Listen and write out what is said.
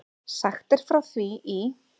Sagt er frá því í